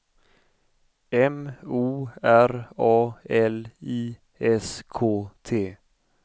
M O R A L I S K T